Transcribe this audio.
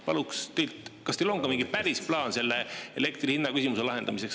Palun, kas teil on ka mingi päris plaan selle elektri hinna küsimuse lahendamiseks.